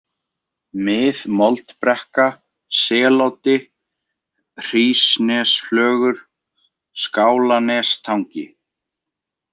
Mið-Moldbrekka, Seloddi, Hrísnesflögur, Skálanestangi